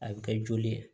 A bɛ kɛ joli ye